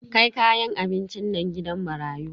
Kai kayan abincin nan gidan marayu.